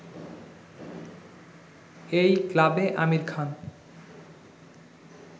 এই ক্লাবে আমির খান